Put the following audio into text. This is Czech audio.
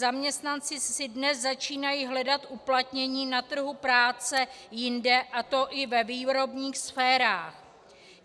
Zaměstnanci si dnes začínají hledat uplatnění na trhu práce jinde, a to i ve výrobních sférách.